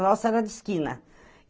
A nossa era de esquina.